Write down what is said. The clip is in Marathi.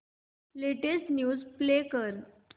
लेटेस्ट न्यूज प्ले कर